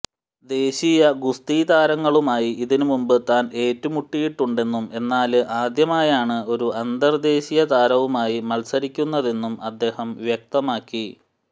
ദേശീയ ഗുസ്തി താരങ്ങളുമായി ഇതിനു മുന്പ് താന് ഏറ്റുമുട്ടിയിട്ടുണ്ടെന്നും എന്നാല് ആദ്യമായാണ് ഒരു അന്തര്ദേശീയ താരവുമായി മത്സരിക്കുന്നതെന്നും അദ്ദേഹം വ്യക്തമാക്കി